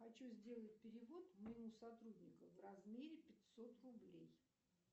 хочу сделать перевод моему сотруднику в размере пятьсот рублей